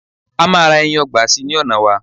ama ra ẹyin ọgbà sí ní ona wa